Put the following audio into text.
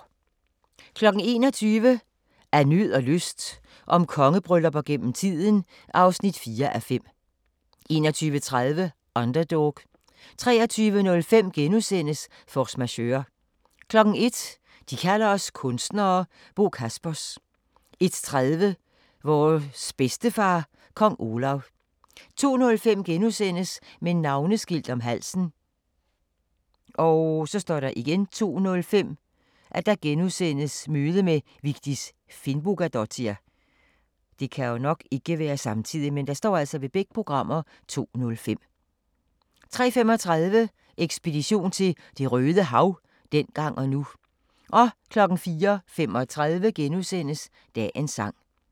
21:00: Af nød og lyst – om kongebryllupper gennem tiden (4:5) 21:30: Underdog 23:05: Force Majeure * 01:00: De kalder os kunstnere - Bo Kaspers 01:30: Vores bedstefar, Kong Olav 02:05: Med navneskilt om halsen * 02:05: Møde med Vigdis Finnbogadottir * 03:35: Ekspedition til Det røde Hav – dengang og nu 04:35: Dagens sang *